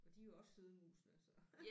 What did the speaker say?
Og de er jo også søde musene så